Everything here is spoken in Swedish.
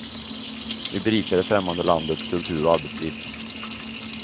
Vi berikar det främmande landets kultur och arbetsliv.